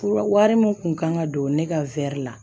Fura wari min tun kan ka don ne ka la